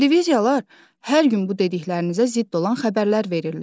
Televiziyalar hər gün bu dediklərinizə zidd olan xəbərlər verirlər.